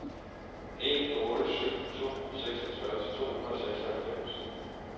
en otte syv to seksogtres to hundrede og seksoghalvfems